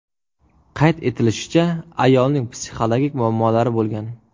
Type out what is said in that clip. Qayd etilishicha, ayolning psixologik muammolari bo‘lgan.